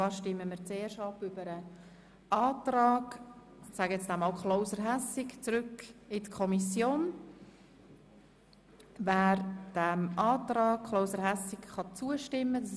Wir stimmen zuerst über den Antrag Klauser/Hässig ab, der die Rückweisung des Artikels in die Kommission verlangt.